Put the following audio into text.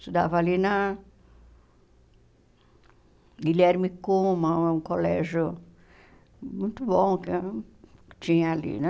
Estudava ali na... Guilherme Kuma, um colégio muito bom que tinha ali, né?